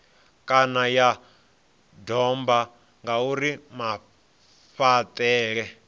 kana ya domba ngauri mafhaṱele